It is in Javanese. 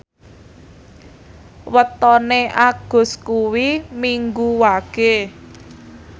wetone Agus kuwi Minggu Wage